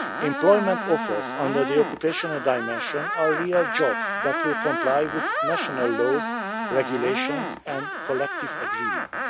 Employment offers under the occupational dimension are real jobs that will comply with national laws, regulations and collective agreements.